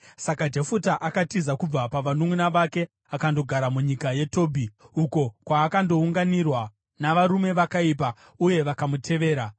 Saka Jefuta akatiza kubva pavanunʼuna vake akandogara munyika yeTobhi, uko kwaakandounganirwa navarume vakaipa uye vakamutevera.